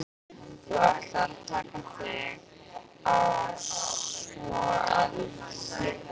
Þú ætlaðir að taka þig á svo að um munaði.